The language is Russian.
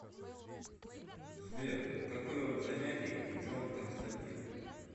сбер какой род занятий у джон константин